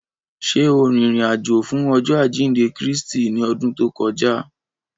Ṣe o rin irin-ajo fun Ọjọ ajinde Kristi ni ọdun to kọja?